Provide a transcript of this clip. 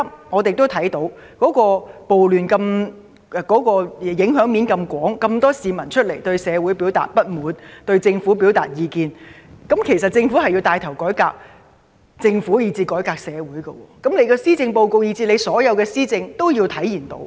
我們亦看到，暴亂影響面廣泛，有這麼多市民出來表達對社會的不滿，對政府表達意見，政府必須牽頭自行作出改革，同時改革社會，這些都要在施政報告及所有施政政策中體現出來。